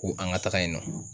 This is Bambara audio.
Ko an ka taga yen nɔ.